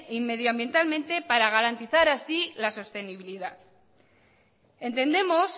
y medioambientalmente para garantizar así la sostenibilidad entendemos